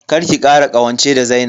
Kar ki kara ƙawance da Zainab.